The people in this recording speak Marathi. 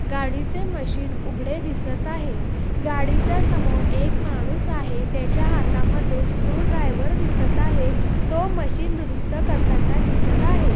गाडीचे मशीन उघडे दिसत आहे गाडीच्या समोर एक माणूस आहे त्याच्या हातामध्ये स्क्रूड्राइव्हर दिसत आहे तो मशीन दुरुस्त करताना दिसत आहे.